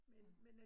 Ja